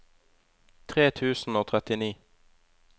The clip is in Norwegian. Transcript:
tre tusen og trettini